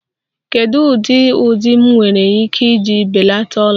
Kedu ụdị ụdị m nwere ike iji belata ọla?